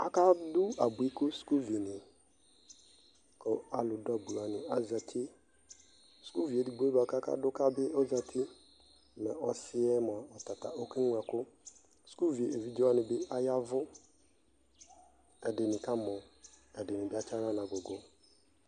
aka dʋ abʋi ka skʋl vi ni kʋ alʋ dʋ abʋi wani azati skʋl vi ɛdigbɔɛ kʋ aka dʋ ka bi ɔzati mɛ ɔsiiɛ mʋa ɔkɛ mlɔ ɛkʋ, skʋl ɛvidzɛ wani bi ayavʋ, ɛdini kamɔ ɛdini atsiala nʋ agʋgʋ